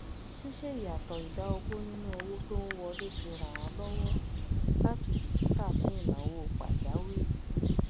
síṣe ìyàsọtọ ìdá ogún nínú owó tó n wọlé ti ràn án lọwọ láti bìkítà fún ìnáwó pàjáwìrì